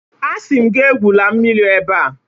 Asi m gi mmiri ebea!